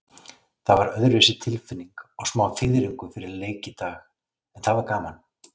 Það var öðruvísi tilfinning og smá fiðringur fyrir leik í dag, en það var gaman.